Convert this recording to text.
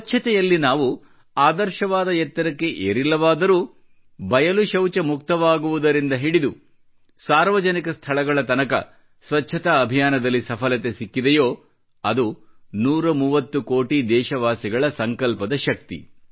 ಸ್ವಚ್ಚತೆಯಲ್ಲಿ ನಾವು ಆದರ್ಶವಾದ ಎತ್ತರಕ್ಕೆ ಏರಿಲ್ಲವಾದರೂ ಬಯಲು ಶೌಚ ಮುಕ್ತವಾಗುವುದರಿಂದ ಹಿಡಿದು ಸಾರ್ವಜನಿಕ ಸ್ಥಳಗಳ ತನಕ ಸ್ವಚ್ಚತಾ ಅಭಿಯಾನದಲ್ಲಿ ಸಫಲತೆ ಸಿಕ್ಕಿದೆಯೋ ಅದು 130 ಕೋಟಿ ದೇಶವಾಸಿಗಳ ಸಂಕಲ್ಪದ ಶಕ್ತಿ